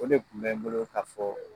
O de kun bɛ n bolo ka fɔ